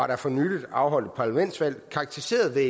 der for nylig afholdt et parlamentsvalg karakteriseret ved